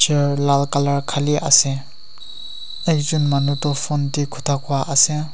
Chair lal colour khali ase ekjun manu tu phone tey khota koiase.